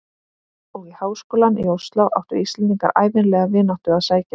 Og í háskólann í Osló áttu Íslendingar ævinlega vináttu að sækja.